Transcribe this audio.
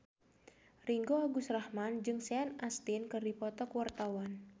Ringgo Agus Rahman jeung Sean Astin keur dipoto ku wartawan